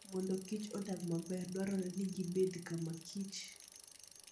Mondo kich odag maber, dwarore ni gibed kamakichr.